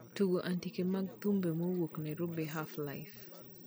Tugo andike mag thumbe mowuok narobi half life